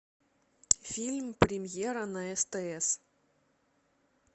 фильм премьера на стс